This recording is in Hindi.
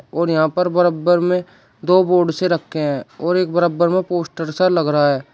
और यहां पर बरबर में दो बोर्ड्स रखे है और एक बरबर में पोस्टर सा लग रहा --